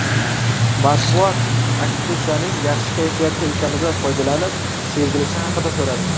Matbuot aktrisaning yaxshi kayfiyatda ekanidan foydalanib, sevgilisi haqida so‘radi.